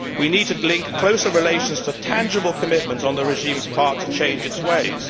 We need to link closer relations to tangible commitments on the regime's part to change its ways.